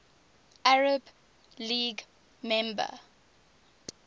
arab league member